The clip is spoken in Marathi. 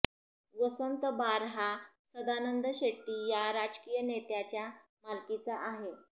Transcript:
वसंत बार हा सदानंद शेट्टी या राजकीय नेत्याच्या मालकीचा आहे